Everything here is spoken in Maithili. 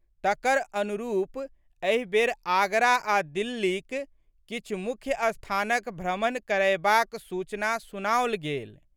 तकर अनुरूप एहि बेर आगरा आ दिल्लीक किछु मुख्य स्थानक भ्रमण करयबाक सूचना सुनाओल गेल।